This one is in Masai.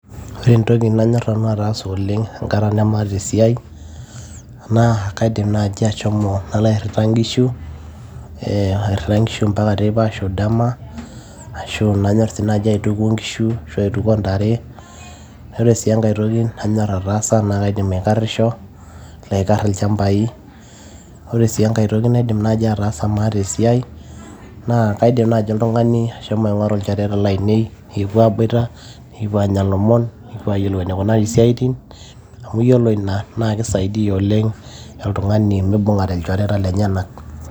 Ore entoki nanyor nanu ataasa oleng' enkata namaata esiai, naa kaidim nai ashomo nalo airrita nkishu, eh airrita nkishu mpaka teipa ashu dama, ashu nanyor si nai aituko nkishu, ashu aituko ntare. Ore si enkae toki nanyor ataasa na kaidim aikarrisho, nalo aikar ilchambai. Ore si enkae toki naidim naji ataasa maata esiai, naa kaidim naji oltung'ani ashomo aing'oru ilchoreta lainei, nikipuo aiboita, nikipuo anya lomon, nikipuo ayiolou enikunari siaitin, amu yiolo ina, na kisaidia oleng' oltung'ani mibung'are ilchoreta lenyanak.